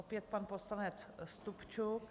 Opět pan poslanec Stupčuk.